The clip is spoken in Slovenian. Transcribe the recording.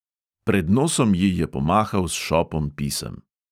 Pred nosom ji je pomahal s šopom pisem.